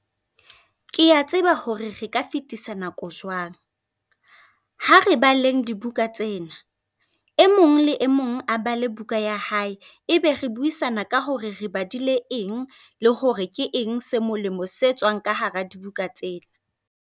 Ke a tseba hore re ka fetisa nako jwang, ha re baleng dibuka tsena. E mong le e mong a bale buka ya hae, ebe re buisana ka hore re badile eng, le hore ke eng se molemo se tswang ka hara dibuka tsena.